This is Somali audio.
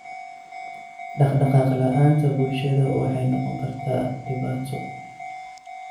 Dhaqdhaqaaq la'aanta bulshada waxay noqon kartaa dhibaato.